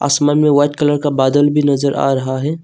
आसमान में white colour का बादल भी नजर आ रहा है।